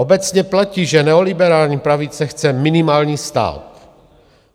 Obecně platí, že neoliberální pravice chce minimální stát.